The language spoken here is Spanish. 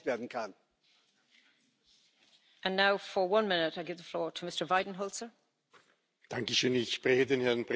Una Europa con rostro de mujer, que acabe con la violencia de género y sea capaz de avanzar hacia sociedades más igualitarias.